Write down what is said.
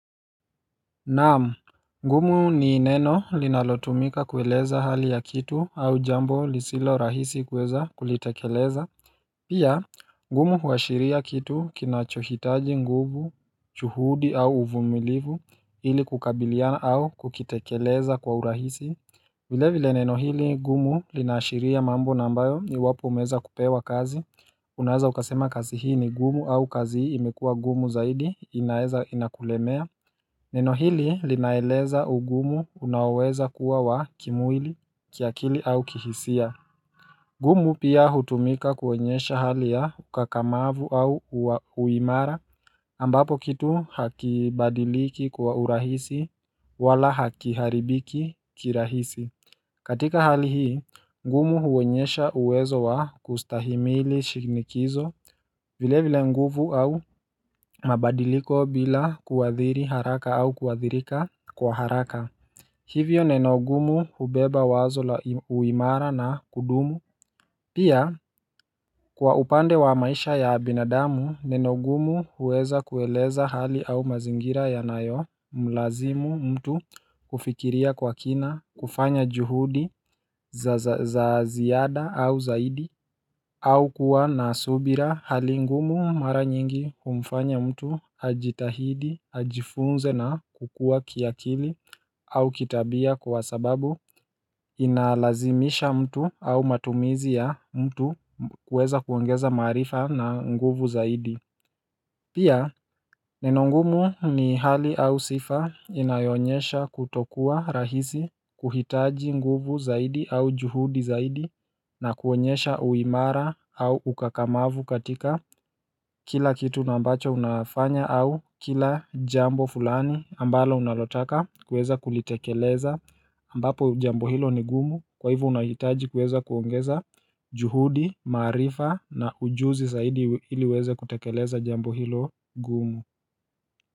Naam, ngumu ni neno linalotumika kueleza hali ya kitu au jambo lisilorahisi kueza kulitekeleza Pia, ngumu huashiria kitu kinachohitaji nguvu, chuhudi au uvumilivu ili kukabiliana au kukitekeleza kwa urahisi vile vile neno hili, ngumu linaashiria mambo na ambayo iwapo umeweza kupewa kazi, unaeza ukasema kazi hii ni gumu au kazi hii imekua gumu zaidi inaeza inakulemea Neno hili linaeleza ugumu unaoweza kuwa wa kimwili kiakili au kihisia gumu pia hutumika kuonyesha hali ya ukakamavu au uimara ambapo kitu hakibadiliki kwa urahisi wala hakiharibiki kirahisi katika hali hii, ngumu huonyesha uwezo wa kustahimili shinikizo vile vile nguvu au mabadiliko bila kuhadhiri haraka au kuhadhirika Kwa haraka, hivyo neno gumu hubeba wazo la uimara na kudumu Pia, kwa upande wa maisha ya binadamu, neno gumu uweza kueleza hali au mazingira yanayo Mlazimu mtu kufikiria kwa kina, kufanya juhudi za ziada au zaidi au kuwa na subira hali ngumu mara nyingi humfanya mtu ajitahidi, ajifunze na kukua kiakili au kitabia kwa sababu inalazimisha mtu au matumizi ya mtu kuweza kuongeza maarifa na nguvu zaidi Pia neno ngumu ni hali au sifa inayoonyesha kutokuwa rahisi kuhitaji nguvu zaidi au juhudi zaidi na kuonyesha uimara au ukakamavu katika kila kitu na ambacho unafanya au kila jambo fulani ambalo unalotaka kueza kulitekeleza ambapo jambo hilo ni gumu kwa hivo unahitaji kuweza kuongeza juhudi, maarifa na ujuzi zaidi hili uweze kutekeleza jambo hilo gumu.